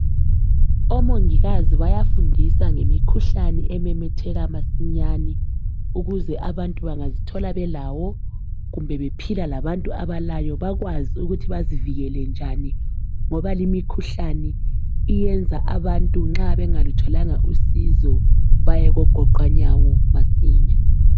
Omongikazi bayafundisa ngemikhuhlane ememetheka masinyane ukuze abantu bangazithola belawo kumbe bephila labantu abalayo bakwazi ukuthi bazivikele njani ngoba limikhuhlane iyenza abantu nxa bengalutholanga usizo baye kogoqwanyawo masinya.